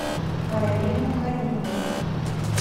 арину калинину